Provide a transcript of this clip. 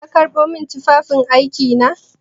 Ka karɓo min tufafin aiki na?